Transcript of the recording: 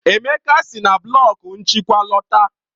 Emeka si na blọku nchịkwa lọta.